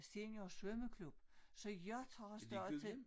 Seniorsvømmeklub så jeg tager stadig til